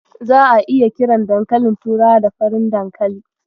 Za'a iya kiran dankalin turawa da 'Farin dankali'.